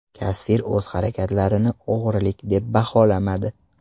Kassir o‘z harakatlarini o‘g‘rilik deb baholamadi.